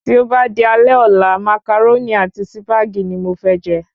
Tí o ba di alé ọ̀la, Màcàrónì ni Sípàgì ni mo fé je